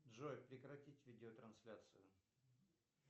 джой прекратить видеотрансляцию